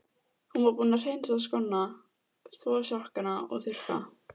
Hún var búin að hreinsa skóna, þvo sokkana og þurrka.